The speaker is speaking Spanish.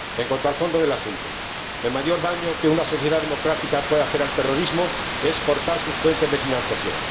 En cuanto al fondo del asunto el mayor daño que una sociedad democrática puede hacer al terrorismo es cortar sus fuentes de financiación.